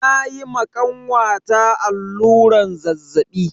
Na yi ma kanwata alluran zazzaɓi.